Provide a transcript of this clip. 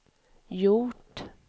gjort